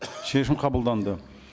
шешім қабылданды